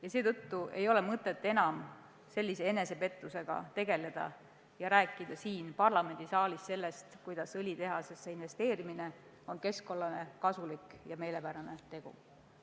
Ja seetõttu pole mõtet sellise enesepettusega enam tegeleda ja rääkida siin parlamendisaalis sellest, kuidas õlitehasesse investeerimine on keskkonnale kasulik ja meelepärane tegu.